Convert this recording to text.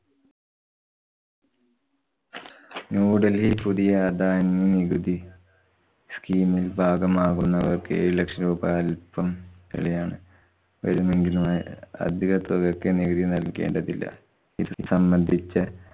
ന്യൂഡല്‍ഹി പുതിയ ആദായനികുതി scheam മില്‍ ഭാഗമാവുന്നവര്‍ക്ക് ഏഴു ലക്ഷം രൂപ അല്‍പം യാണ്. വരുമെങ്കിലുമായ അധിക തുകക്ക് നികുതി നല്‍കേണ്ടതില്ല. ഇത് സംബന്ധിച്ച